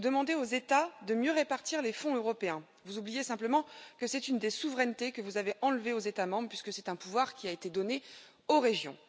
Vous demandez aux États de mieux répartir les fonds européens, mais vous oubliez simplement que c'est une des souverainetés que vous avez enlevées aux États membres, puisque c'est un pouvoir qui a été donné aux régions.